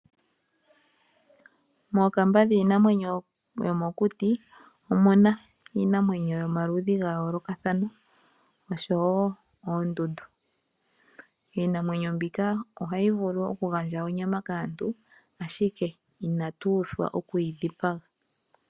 Mookamba dhiinamwenyo yomokuti omuna iinamwenyo yomaludhi ga yoolokathana oshowo oondundu. Iinamwenyo mbika ohayi vulu oku gandja onyama kaantu ashika inatu uthwa okuyi dhipaga.